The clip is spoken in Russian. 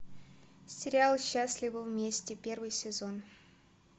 сериал счастливы вместе первый сезон